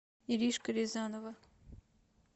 иришка рязанова